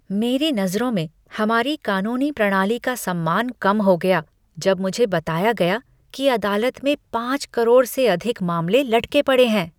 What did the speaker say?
मेरी नज़रों में हमारी कानूनी प्रणाली का सम्मान कम हो गया जब मुझे बताया गया कि अदालत में पाँच करोड़ से अधिक मामले लटके पड़े हैं।